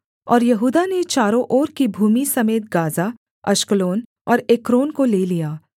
और यहूदा ने चारों ओर की भूमि समेत गाज़ा अश्कलोन और एक्रोन को ले लिया